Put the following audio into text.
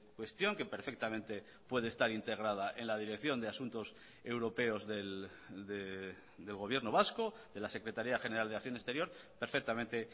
cuestión que perfectamente puede estar integrada en la dirección de asuntos europeos del gobierno vasco de la secretaría general de acción exterior perfectamente